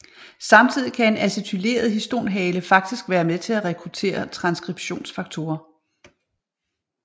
Samtidig kan en acetyleret histonhale faktisk være med til at rekruttere transskriptionsfaktorer